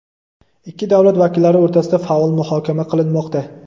ikki davlat vakillari o‘rtasida faol muhokama qilinmoqda.